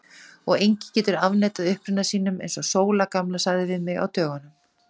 Og enginn getur afneitað uppruna sínum, eins og Sóla gamla sagði við mig á dögunum.